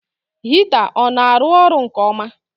Hita ọ na arụ ọrụ nke ọma?